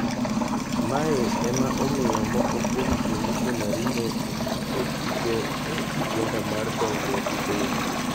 Mae ema omiyo moko kwom jomishonari ne otii go e ajenda mar dongruok piny.